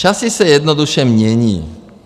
Časy se jednoduše mění.